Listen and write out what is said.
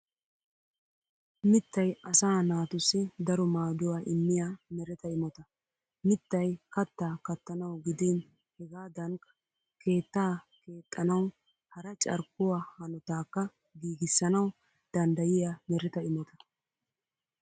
Mittay asaa naatussi daro maaduwaa immiya mereta imota. Mittay kattaa kattanawu gidin hegaadankk keettaa keexxanawu hara carkkuwaa hanotaakka giigissanawu danddayiyaa mereta imota.